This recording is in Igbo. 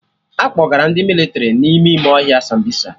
Akpọgara ndị mịlịtrị ma ime ohia Sambisa